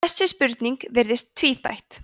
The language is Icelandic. þessi spurning virðist tvíþætt